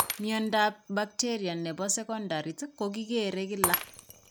Mnyantoap bacteria ne po seekoontariit ko kikere kila.